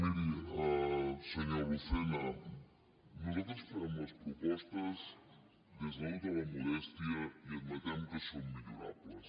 miri senyor lucena nosaltres fem les propostes des de tota la modèstia i admetem que són millorables